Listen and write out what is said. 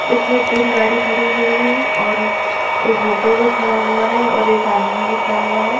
इसमें तीन गाड़ी खड़ी हुई है और एक ऑटो भी खड़ा हुआ है और एक आदमी भी खड़ा हुआ है।